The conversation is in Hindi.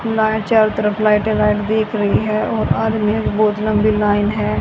ला चारों तरफ लाइटें लाइट दिख रही हैं और आदमीयों की बहुत लंबी लाइन है।